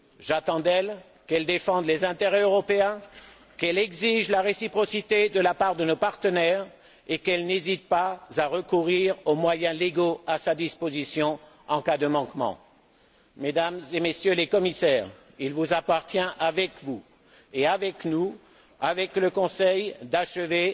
J'attends d'elle qu'elle défende les intérêts européens, qu'elle exige la réciprocité de la part de nos partenaires et qu'elle n'hésite pas à recourir aux moyens légaux à sa disposition en cas de manquements. Mesdames et Messieurs les commissaires, il vous appartient, avec nous, avec le Conseil, d'achever